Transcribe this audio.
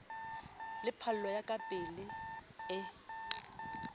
le phallo ya kapetlele e